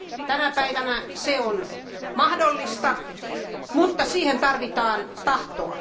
Tänä päivänä se on mahdollista, mutta siihen tarvitaan tahtoa.